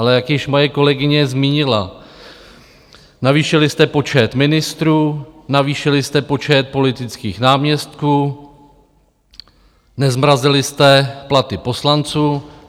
Ale jak již moje kolegyně zmínila, navýšili jste počet ministrů, navýšili jste počet politických náměstků, nezmrazili jste platy poslanců.